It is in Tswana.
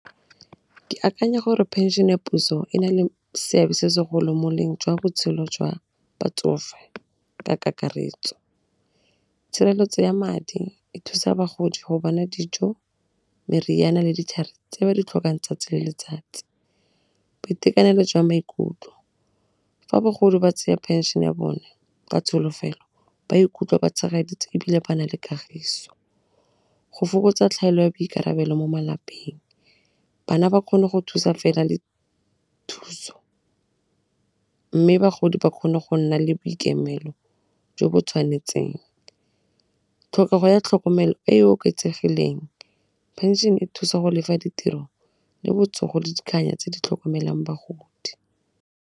Ke akanya gore phenšene ya puso e na le seabe se segolo mo jwa botshelo jwa batsofe ka kakaretso. Tshireletso ya madi e thusa bagodi go bona dijo, meriana le ditlhare tse ba ditlhokang 'tsatsi le letsatsi. Boitekanelo jwa maikutlo fa bagolo ba tsaya phešene ya bone ka tsholofelo ba ikutlwa ba tshegeditswe ebile ba na le kagiso. Go fokotsa tlhaelo ya boikarabelo mo malapeng bana ba kgone go thusa fela mme bagodi ba kgone go nna le boikemelo jo bo tshwanetseng. Tlhokego ya tlhokomelo e e oketsegileng, phenšene e thusa go ditiro le botsogo le tse di tlhokomelang bagodi.